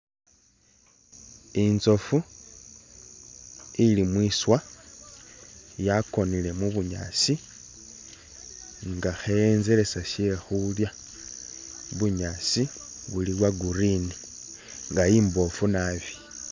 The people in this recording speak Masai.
Intsofu ili mwiswa yakonile mu'bunyaasi nga khe'enzelesa shekhulya, bunyaasi buli bwa'green nga imbofu naabi